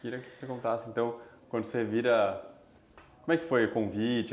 Queria que você contasse, então, quando você vira... Como é que foi o convite?